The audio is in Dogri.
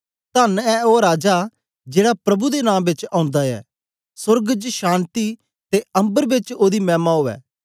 धन्न ऐ ओ राजा जेड़ा प्रभु दे नां बेच ओंदा ऐ सोर्ग च शान्ति ते अम्बर बेच ओदी मैमा उवै